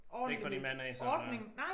Ikke fra din mand af sådan